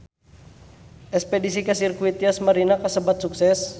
Espedisi ka Sirkuit Yas Marina kasebat sukses